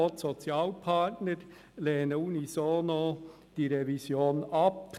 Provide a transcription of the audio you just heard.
Auch die Sozialpartner lehnen die Revision unisono ab.